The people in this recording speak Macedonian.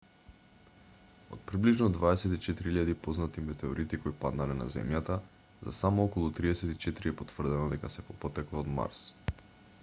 од приближно 24.000 познати метеорити кои паднале на земјата за само околу 34 е потврдено дека се по потекло од марс